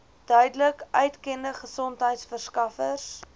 duidelik uitgekende gesondheidsorgverskaffers